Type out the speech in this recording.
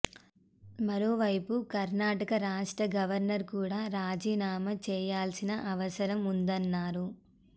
మరోవైపు కర్ణాటక రాష్ట్ర గవర్నర్ కూడ రాజీనామా చేయాల్సిన అవసరం ఉందన్నారు